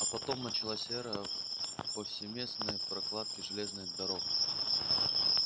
а потом началась эра повсеместной прокладки железных дорог